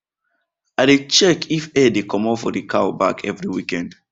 i dey check if hair dey commot for the cow back every weekend